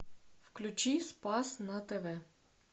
включи спас на тв